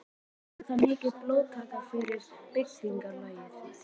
Var það mikil blóðtaka fyrir byggðarlagið.